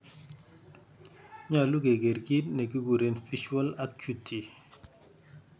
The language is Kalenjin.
Nyolu keger kit negikuren Visual acuity.